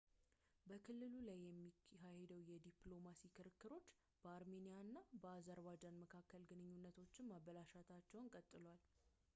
በክልሉ ላይ የሚካሄዱ የዲፕሎማሲ ክርክሮች በአርሜኒያ እና በአዘርባጃን መካከል ግንኙነቶችን ማበላሸታቸውን ቀጥለዋል